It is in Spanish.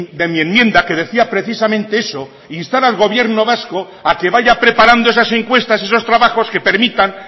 de mi enmienda que decía precisamente eso instar al gobierno vasco a que vaya preparando esas encuestas esos trabajos que permitan